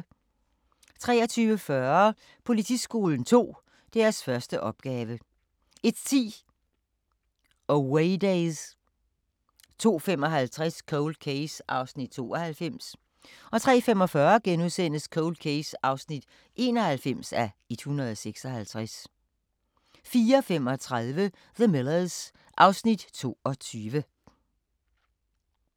23:40: Politiskolen 2 – deres første opgave 01:10: Awaydays 02:55: Cold Case (92:156) 03:45: Cold Case (91:156)* 04:35: The Millers (Afs. 22)